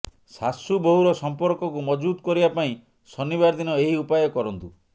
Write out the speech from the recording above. ଶାଶୁ ବୋହୁର ସମ୍ପର୍କକୁ ମଜବୁତ କରିବା ପାଇଁ ଶନିବାର ଦିନ ଏହି ଉପାୟ କରନ୍ତୁ